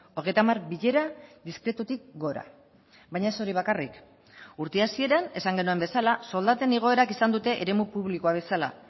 hogeita hamar bilera diskretutik gora baina ez hori bakarrik urte hasieran esan genuen bezala soldaten igoerak izan dute eremu publikoa bezala